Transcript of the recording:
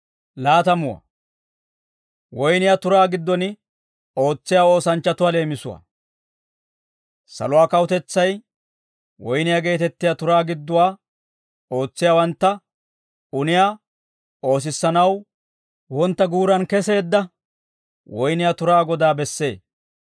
«Saluwaa kawutetsay woyniyaa geetettiyaa turaa gidduwaa ootsiyaawantta uniyaa oosissanaw, wontta guuraan keseedda woyniyaa turaa godaa bessee.